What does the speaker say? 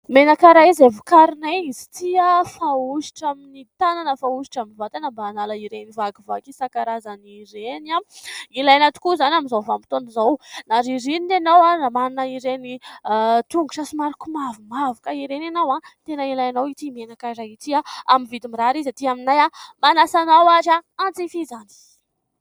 Menaka iray izay vokarinay izy ity fahosotra amin' ny tanana, fahosotra amin' ny vatana mba hanala ireny vakivaky isankarazany ireny. Ilaina tokoa izany amin' izao vanim-potoana izao, na ririnina inao, na manana ireny tongotra somary komavomavoka ireny ianao, tena ilainao ity menaka iray ity amin' ny vidiny mirary izy ety aminay manasa anao ary hanjifa izany.